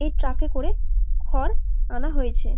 এই ট্রাক -এ করে খড় আনা হয়েছে।